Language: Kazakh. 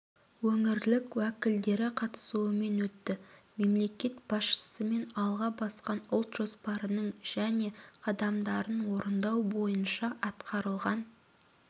өңірлік уәкілдері қатысуымен өтті мемлекет басшысымен алға басқан ұлт жоспарының және қадамдарын орындау бойынша атқарылған